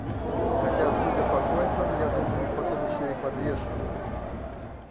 хотя судя по кольцам я думаю их потом ещё и подвешивают